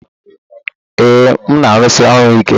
Ee, m na-arụsi ọrụ ike.